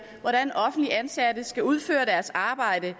hvordan offentligt ansatte skal udføre deres arbejde